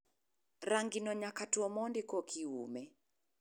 Rangino nyaka two mondi kokiume.